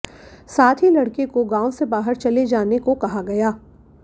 साथ ही लड़के को गांव से बाहर चले जाने को कहा गया